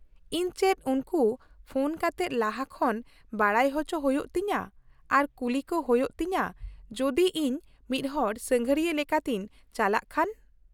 -ᱤᱧ ᱪᱮᱫ ᱩᱱᱠᱩ ᱯᱷᱚᱱ ᱠᱟᱛᱮᱫ ᱞᱟᱦᱟ ᱠᱷᱚᱱ ᱵᱟᱰᱟᱭ ᱚᱪᱚ ᱦᱩᱭᱩᱜ ᱛᱤᱧᱟᱹ ᱟᱨ ᱠᱩᱞᱤ ᱠᱚ ᱦᱩᱭᱩᱜ ᱛᱤᱧᱟᱹ ᱡᱩᱫᱤ ᱤᱧ ᱢᱤᱫ ᱦᱚᱲ ᱥᱟᱸᱜᱷᱟᱨᱤᱭᱟᱹ ᱞᱮᱠᱟᱛᱮᱧ ᱪᱟᱞᱟᱜ ᱠᱷᱟᱱ ?